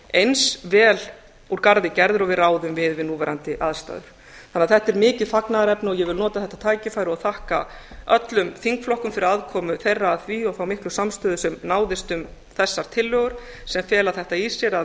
eins vel úr garði gerðir og við ráðum við við núverandi aðstæður þetta er því mikið fagnaðarefni og ég vil nota þetta tækifæri og þakka öllum þingflokkum fyrir aðkomu þeirra að því og þá miklu samstöðu sem náðist um þessar tillögur sem fela þetta í sér að